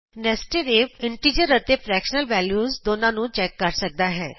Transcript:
nested if integer ਅਤੇ fractional values ਦੋਨਾਂ ਨੂੰ ਚੈਕ ਕਰ ਸਕਦਾ ਹੈ